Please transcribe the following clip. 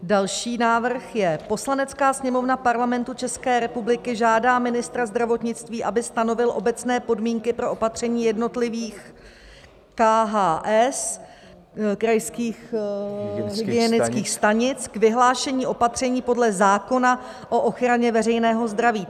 Další návrh je: "Poslanecká sněmovna Parlamentu České republiky žádá ministra zdravotnictví, aby stanovil obecné podmínky pro opatření jednotlivých KHS, krajských hygienických stanic, k vyhlášení opatření podle zákona o ochraně veřejného zdraví."